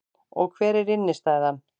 Og hver er innstæðan